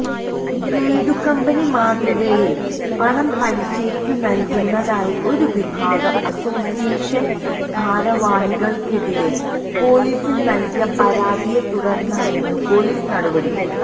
blade company മാതൃകയില് പണം പലിശയ്ക്കുനല്കുന്നതായി ഒരു വിഭാഗം അസ്സോസിയേഷന് ഭാരവാഹികള്ക്കെതിരെ പോലീസില് നല്കിയ പരാതിയെത്തുടര്ന്നായിരുന്നു പോലീസ് നടപടി